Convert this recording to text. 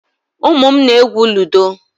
Ụmụ m na-egwú ludo.